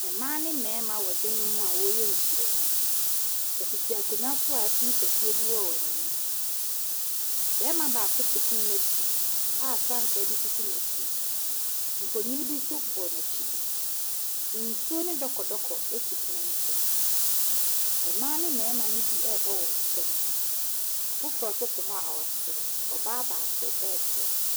Mmaa ne mmarima wɔ dan mu a wɔreyɛ nhyiamu, wɔtete akonnwa so a pono kɛseɛ bi wɔ wɔn anim. Barima baako te pono no akyi a frankaa bi sisi n’akyi, mfonini bi nso bɔ n’akyi. Nsuo ne dɔkɔdɔkɔ si pono ne so. Mmaa ne mmarima ne bi ɛrebɔ wɔn nsam, afoforɔ nso te hɔ a ɛresere. Ɔbaa baako ɛretwerɛ.